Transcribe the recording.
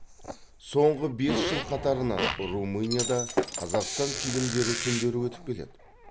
соңғы бес жыл қатарынан румынияда қазақстан фильмдері күндері өтіп келеді